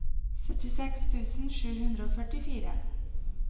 syttiseks tusen sju hundre og førtifire